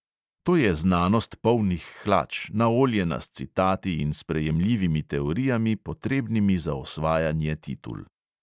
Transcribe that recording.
To je znanost polnih hlač, naoljena s citati in sprejemljivimi teorijami, potrebnimi za osvajanje titul.